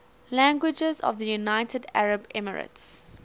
languages of the united arab emirates